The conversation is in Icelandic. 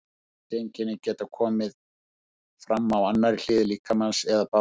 Þessi einkenni geta komið fram á annarri hlið líkamans eða báðum.